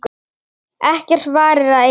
Ekkert varir að eilífu.